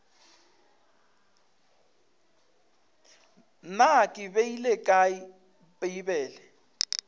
na ke beile kae bibele